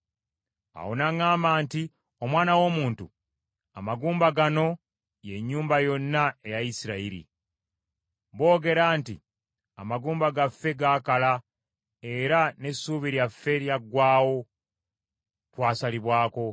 Awo n’aŋŋamba nti, “Omwana w’omuntu, amagumba gano ye nnyumba yonna eya Isirayiri. Boogera nti, ‘Amagumba gaffe gaakala era n’essuubi lyaffe lyaggwaawo, twasalibwako.’